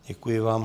Děkuji vám.